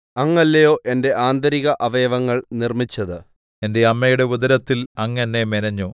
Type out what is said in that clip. അങ്ങല്ലയോ എന്റെ ആന്തരിക അവയവങ്ങൾ നിർമ്മിച്ചത് എന്റെ അമ്മയുടെ ഉദരത്തിൽ അങ്ങ് എന്നെ മെനഞ്ഞു